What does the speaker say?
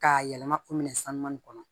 K'a yɛlɛma o minɛn sanuman in kɔnɔ